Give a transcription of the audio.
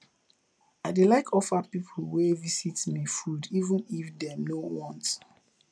i dey like offer pipo wey visit me food even if dem no want